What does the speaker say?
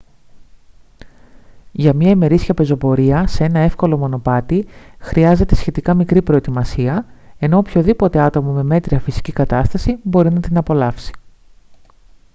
για μια ημερήσια πεζοπορία σε ένα εύκολο μονοπάτι χρειάζεται σχετικά μικρή προετοιμασία ενώ οποιοδήποτε άτομο με μέτρια φυσική κατάσταση μπορεί να την απολαύσει